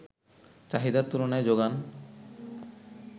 চাহিদার তুলনায় যোগান